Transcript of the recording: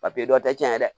dɔ tɛ cɛn dɛ